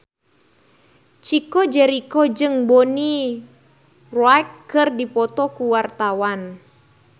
Chico Jericho jeung Bonnie Wright keur dipoto ku wartawan